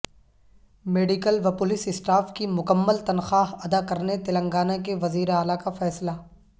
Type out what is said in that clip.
medical و police staff کی مکمل تنخواہ اداکرنے تلنگانہ کے وزیراعلی کا فیصلہ